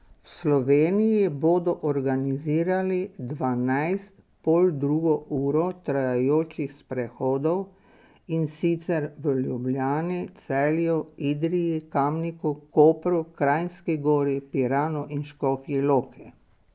V Sloveniji bodo organizirali dvanajst poldrugo uro trajajočih sprehodov, in sicer v Ljubljani, Celju, Idriji, Kamniku, Kopru, Kranjski Gori, Piranu in Škofji Loki.